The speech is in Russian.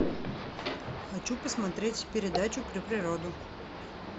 хочу посмотреть передачу про природу